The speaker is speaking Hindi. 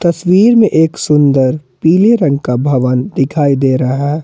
मे एक सुंदर पीले रंग का भवन दिखाई दे रहा--